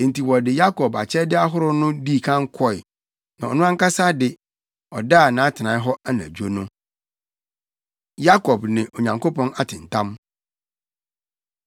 Enti wɔde Yakob akyɛde ahorow no dii kan kɔe. Na ɔno ankasa de, ɔdaa nʼatenae hɔ anadwo no. Yakob Ne Onyankopɔn Atentam